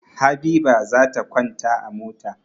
Habiba za ta kwanta a mota.